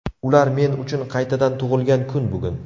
Ular men uchun qaytadan tug‘ilgan kun bugun.